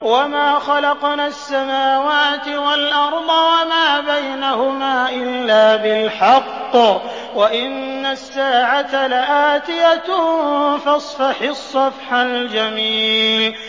وَمَا خَلَقْنَا السَّمَاوَاتِ وَالْأَرْضَ وَمَا بَيْنَهُمَا إِلَّا بِالْحَقِّ ۗ وَإِنَّ السَّاعَةَ لَآتِيَةٌ ۖ فَاصْفَحِ الصَّفْحَ الْجَمِيلَ